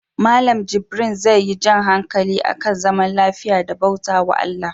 Mallan jibrin zai yi jan hankali akan zaman lafiya da bautawa ALLAH